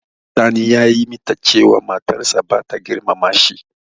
Sani ya yi mita cewa matar sa bata girmama shi.